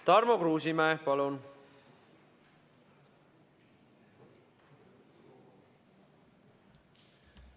Tarmo Kruusimäe, palun!